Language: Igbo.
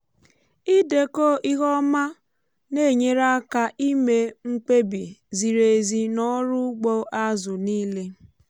ịdekọ ihe ọma na-enyere aka ime mkpebi ziri ezi n’ọrụ ugbo azụ niile.